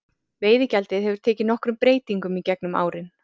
Veiðigjaldið hefur tekið nokkrum breytingum í gegnum árin.